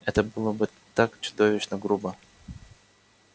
это было бы так чудовищно грубо